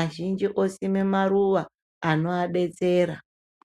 azhinji osima maruwa anoabetsera .